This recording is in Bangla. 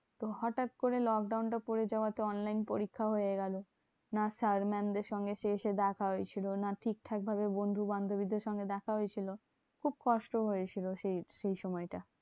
তো হটাৎ করে lockdown টা পরে যাওয়া তে online পরীক্ষা হয়ে গেলো। না sir mam দেড় সঙ্গে শেষে দেখা হয়েছিল, না ঠিকঠাক ভাবে বন্ধু বান্ধবীদের সঙ্গে দেখা হয়েছিল। খুব কষ্ট হয়েছিল সেই সেইসময়টা।